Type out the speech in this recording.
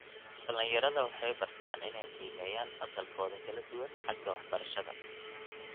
Dhallinyarada waxay bartaan inay qiimeeyaan asalkooda kala duwan xagga waxbarashada.